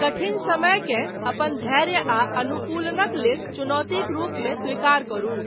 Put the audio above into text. कठिन समयकेँ, अपन धैर्य आ अनुकूलनक लेल, चुनौतीक रूपमे स्वीकार करू।